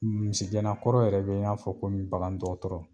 Misigɛnna kɔrɔ yɛrɛ bɛ i n'a fɔ komi bagan dɔgɔtɔrɔ.